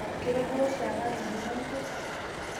kutodua shaake atudung'o nkwee?